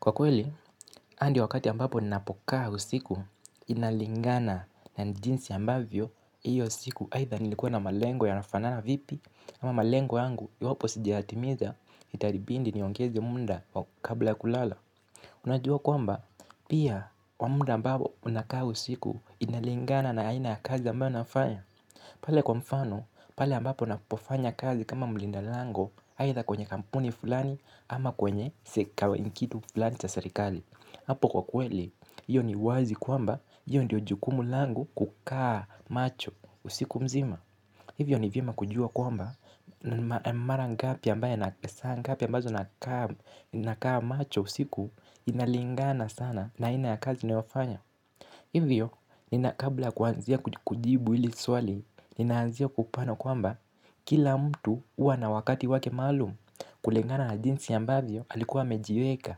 Kwa kweli, hadi wakati ambapo ninapokaa usiku inalingana na jinsi ambavyo hiyo usiku aidha nilikuwa na malengo yanafanana vipi. Ama malengo yangu iwapo sijayatimiza itanibidi niongeze muda wa kukaa bila kulala. Unajua kwamba, pia wamuda ambapo unakaa usiku inalingana na aina ya kazi ambayo nafanya. Pale kwa mfano, pale ambapo napofanya kazi kama mulinda lango aidha kwenye kampuni fulani ama kwenye seka ni kitu fulani cha serikali hapo kwa kweli, hiyo ni wazi kwamba, hiyo ndiyo jukumu langu kukaa macho usiku mzima. Hivyo ni vyema kujua kwamba, mara ngapi ambaye saa ngapi ambazo nakaa macho usiku. Inalingana sana na aina ya kazi unofanya. Hivyo, nina kabla ya kuanzia kujibu hili swali, ninaanzia kupano kwamba kila mtu huwa na wakati wake maalum kulingana na jinsi ambavyo alikuwa amejiweka.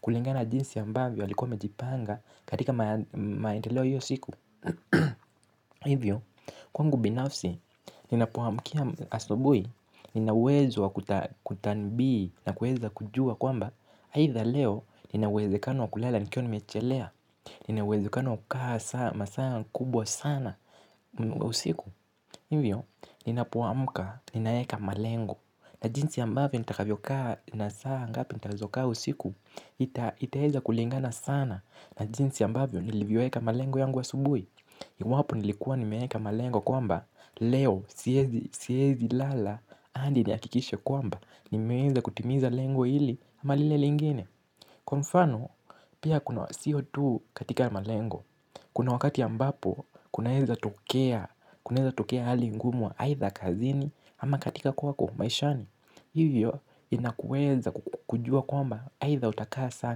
Kulingana na jinsi ambavyo alikuwa amejipanga katika maendeleo hiyo siku. Hivyo, kwangu binafsi, ninapoamkia asubuhi, nina uwezo wa kutanbii na kuweza kujua kwamba aidha leo, nina uwezekano wa kulala nikiwa nimechelea, nina uwezekano wa kukaa masaa kubwa sana. Usiku, hivyo, ninapamka, ninaeka malengo. Na jinsi ambavyo nitakavyokaa na saa ngapi nitazokaa usiku. Itaeza kulingana sana na jinsi ambavyo nilivyoeka malengo yangu asubuhi. Iwapo nilikuwa nimeeka malengo kwamba leo, siwezi lala hadi nihakikishe kwamba, nimeweza kutimiza lengo hili ama lile lingine. Kwa mfano, pia kuna sio tu katika malengo kuna wakati ambapo kunaweza tokea hali ngumu aidha kazini ama katika kwako maishani. Hivyo inakuweza kujua kwamba aidha utakaa saa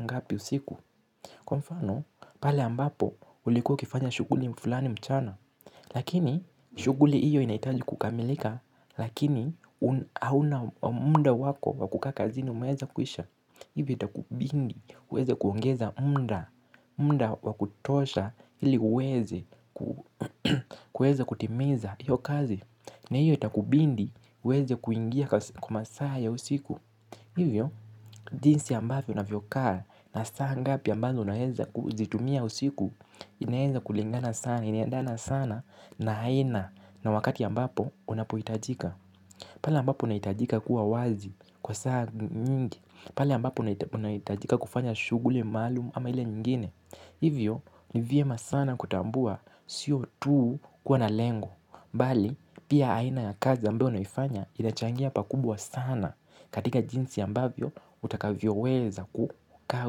ngapi usiku. Kwa mfano, pale ambapo ulikuwa ukifanya shughuli fulani mchana. Lakini, shughuli hiyo inahitaji kukamilika, lakini hauna muda wako wa kukaa kazini umweza kuisha. Hivi itakubidi, uweze kuongeza muda, muda wa kutosha ili uweze, kuweza kutimiza hiyo kazi. Na hiyo itakubidi, uweze kuingia kwa masaa ya usiku hivyo, jinsi ambayo unavyokaa na saa ngapi ambazo unaweza kuzitumia usiku. Inaweza kulingana sana, inaendana sana na aina na wakati ambapo unapohitajika. Pale ambapo unahitajika kuwa wazi kwa saa nyingi. Pale ambapo unahitajika kufanya shughuli maalumu ama ile nyingine. Hivyo, ni vyema sana kutambua sio tu kuwa na lengo. Bali, pia aina ya kazi ambayo naifanya inachangia pakubwa sana katika jinsi ambavyo, utakavyo weza kukaa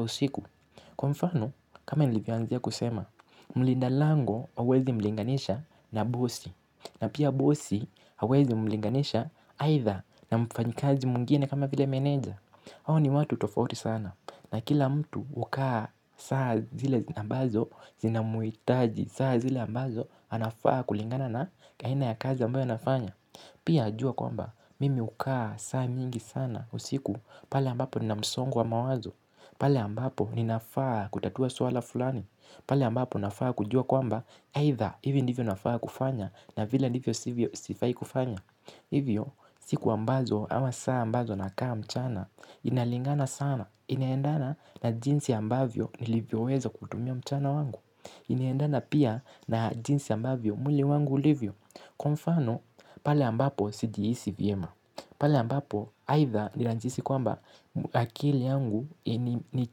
usiku. Kwa mfano, kama nilivyoanzia kusema. Mlinda lango hauwezi mlinganisha na bosi. Na pia bosi hauwezi mlinganisha aidha na mfanyikazi mwingine kama vile meneja. Hawa ni watu tofauti sana na kila mtu hukaa saa zile ambazo zinamuhitaji saa zile ambazo anafaa kulingana na aina ya kazi ambayo anafanya. Pia najua kwamba mimi hukaa saa mingi sana usiku pale ambapo nina msongo wa mawazo. Pale ambapo ninafaa kutatua swala fulani. Pale ambapo nafaa kujua kwamba either hivi ndivyo nafaa kufanya na vile ndivyo sifai kufanya. Hivyo, siku ambazo ama saa ambazo nakaa mchana, inalingana sana, inaendana na jinsi ambavyo nilivyo weza kutumia mchana wangu. Inaendana pia na jinsi ambavyo mwili wangu ulivyo, kwa mfano pale ambapo sijihisi vyema. Pale ambapo, aidha ninajihisi kwamba akili yangu ni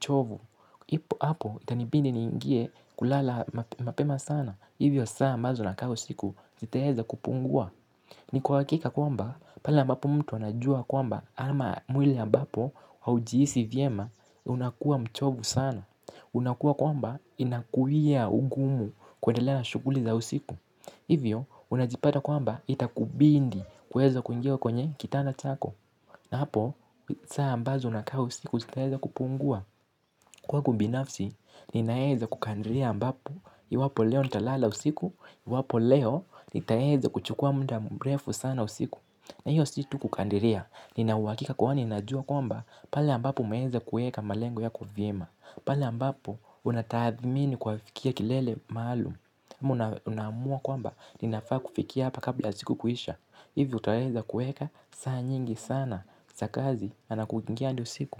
chovu, ipo hapo itanibidi niingie kulala mapema sana. Hivyo saa ambazo nakaa usiku zitaeza kupungua. Ni kwa hqkika kwamba pale ambapo mtu anajua kwamba ama mwili ambapo haujihisi vyema unakuwa mchovu sana. Unakuwa kwamba inakuwia ugumu kuendelea na shughuli za usiku. Hivyo, unajipata kwamba itakubidi kuweza kuingia kwenye kitanda chako. Na hapo, saa ambazo unakaa usiku zitaeza kupungua. Kwangu binafsi, ninaeza kukandiria ambapo, iwapo leo nitalala usiku, iwapo leo nitaeza kuchukua muda mrefu sana usiku. Na hiyo si tu kukandiria, nina uhakika kwani najua kwamba pale ambapo umeeza kueka malengo yako vyema. Pale ambapo, unatahathmini kwafikia kilele maalum. Ama unaamua kwamba, ninafaa kufikia hapa kabla siku kuisha. Hivyo utaweza kuweka, saa nyingi sana, za kazi, na kuingia hadi usiku.